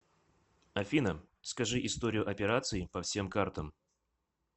афина скажи историю операций по всем картам